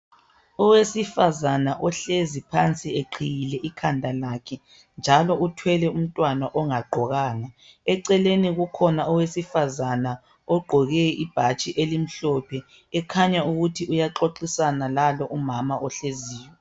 Owesifazana ohlezi phansi eqhiyile ikhanda lakhe, njalo uthwele umntwana ongagqokanga. Eceleni kukhona owesifazana ogqoke ibhatshi elimhlophe ekhanya ukuthi uyaxoxisana lalo umama ohleziyo.